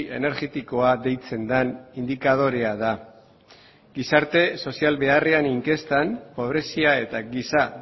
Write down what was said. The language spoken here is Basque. energetikoa deitzen den indikadorea da gizarte sozial beharrean inkestan pobrezia eta giza